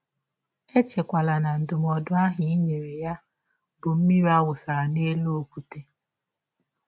Echekwala na ndụmọdụ ahụ i nyere ya bụ mmiri a wụsara n’elụ ọkwụte.